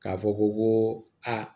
K'a fɔ ko aa